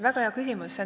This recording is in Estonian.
Väga hea küsimus.